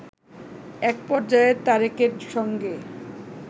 একপর্যায়ে তারেকের সঙ্গে